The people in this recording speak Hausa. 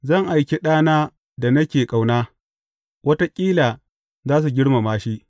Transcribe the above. Zan aiki ɗana da nake ƙauna, wataƙila za su girmama shi.’